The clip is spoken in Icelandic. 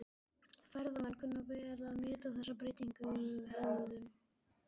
Ferðamenn kunna vel að meta þessa breyttu hegðun.